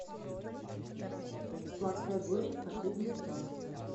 сладкая горечь последний сезон